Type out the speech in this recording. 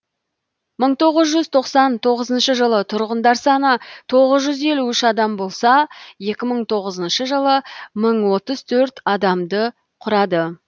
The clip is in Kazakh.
мың тоғыз тоқсан тоғызыншы жылы тұрғындар саны тоғыз жүз елу үш адам болса екі мың тоғызыншы жылы мың отыз төрт адамды құрады